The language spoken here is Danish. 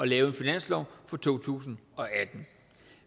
lave en finanslov for to tusind og atten